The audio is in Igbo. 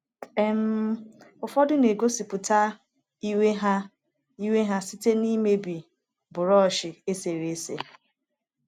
um Ụfọdụ na-egosipụta iwe ha iwe ha site n’imebi brushi eserese.